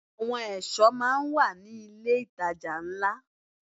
Àwọn ẹ̀ṣọ́ máa ń wà ní ilé ìtajà ńlá.